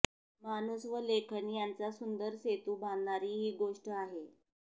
माणूस व लेखन यांचा सुंदर सेतू बांधणारी ही गोष्ट आहे